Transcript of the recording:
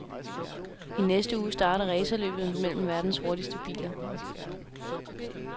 I næste uge starter racerløbet mellem verdens hurtigste biler.